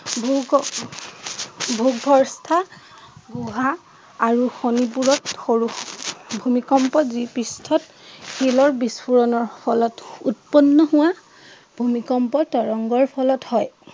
গুহা আৰু বোৰত সৰু ভূমিকম্পত যি পৃষ্ঠত শিলৰ বিস্ফোৰণৰ ফলত উৎপন্ন হোৱা ভূমিকম্পৰ তৰংগৰ ফলত হয়।